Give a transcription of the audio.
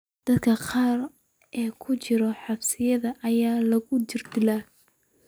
Dadka qaar ee ku jira xabsiyada ayaa lagu jirdilaa.